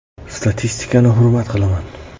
Statistikani hurmat qilaman.